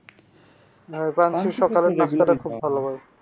হ্যাঁ ভাই পাঞ্চির সকালের নাস্তাটা খুব ভালো হয়।